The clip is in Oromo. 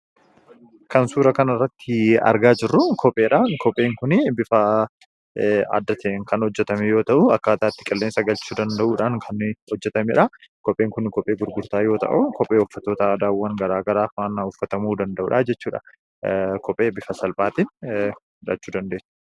Kan suuraa kanarratti argaa jirru kopheedha. Kopheen kun bifa adda ta'een kan hojjetame yoo ta'u, akkaataa itti qilleensa galchuu danda'uudhaan kan hojjetameedha. Kopheen kun, kophee gurgurtaa yoo ta'u, kophee uffattoota aadaawwaan garaagaraafaa waan uffatamuu danda'uudha jechuudha. Kophee bifa salphaatiin argachuu dandeenya.